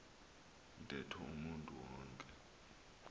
ntetho umntu wonke